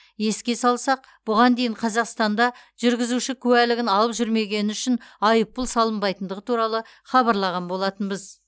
еске салсақ бұған дейін қазақстанда жүргізуші куәлігін алып жүрмегені үшін айыппұл салынбайтындығы туралы хабарлаған болатынбыз